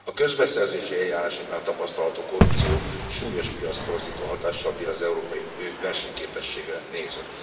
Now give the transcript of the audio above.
A közbeszerzési eljárásoknál tapasztalható korrupció súlyos piactorzító hatással bír az európai versenyképességre nézve.